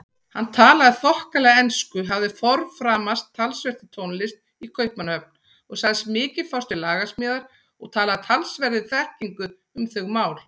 Hann talaði þokkalega ensku, hafði forframast talsvert í tónlist í Kaupmannahöfn og sagðist mikið fást við lagasmíðar og talaði af talsverðri þekkingu um þau mál.